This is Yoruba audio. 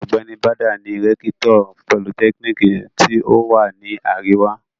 Ọ̀gbẹ́ni Bàdà ni rẹ́kítọ̀ politẹ́kíníkì tí ó wà ní àríwá.